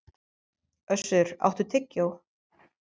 Össur, áttu tyggjó?